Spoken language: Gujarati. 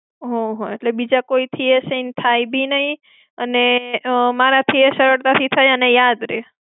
હમ્મ હમ્મ. એટલે બીજા કોઈથી એ sign થાય બી નઈ, અને ઉમમ, મારા થી એ થાય અને સરળતા થી યાદ રેય.